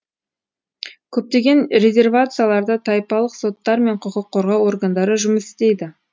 көптеген резервацияларда тайпалық соттар мен құқық қорғау органдары жұмыс істейді